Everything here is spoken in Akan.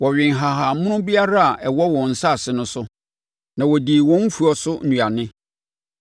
wɔwee nhahammono biara a ɛwɔ wɔn asase no so, na wɔdii wɔn mfuo so nnuane.